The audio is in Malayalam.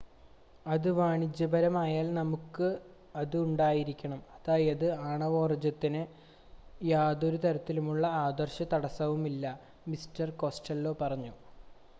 അത് വാണിജ്യപരമായാൽ നമുക്കത് ഉണ്ടായിരിക്കണം അതായത് ആണവോർജ്ജത്തിന് യാതൊരുതരത്തിലുമുള്ള ആദർശ തടസ്സവുമില്ല മിസ്റ്റർ കോസ്റ്റെല്ലോ പറഞ്ഞു